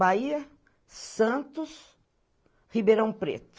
Bahia, Santos, Ribeirão Preto.